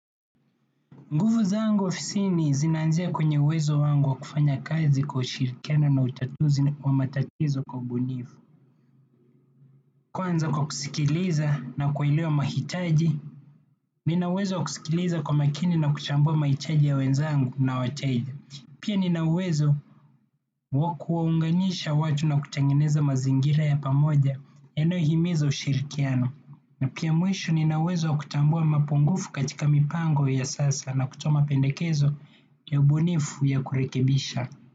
Nguvu zangu ofisini zinaanzia kwenye uwezo wangu wa kufanya kazi kwa ushirikiano na utatuzi wa matatizo kwa ubunifu. Kwanza kwa kusikiliza na kuelewa mahitaji, nina uwezo wa kusikiliza kwa makini na kuchambua mahitaji ya wenzangu na wateja. Pia nina uwezo wa kuwaunganisha watu na kutengeneza mazingira ya pamoja yanayohimiza ushirikiano. Na pia mwisho nina uwezo wa kutambua mapungufu katika mipango ya sasa na kutoa mapendekezo ya ubunifu ya kurekebisha.